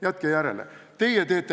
Jätke järele!